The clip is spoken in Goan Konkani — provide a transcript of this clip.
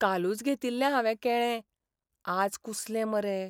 कालूच घेतिल्लें हावें केळें, आज कुसलें मरे.